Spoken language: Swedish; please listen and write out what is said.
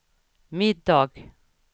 middag